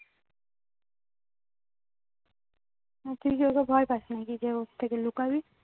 না তুই কি ওকে ভয় পাসনাকি যে ওর থেকে লুকাবি